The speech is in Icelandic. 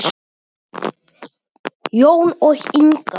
Jón og Inga.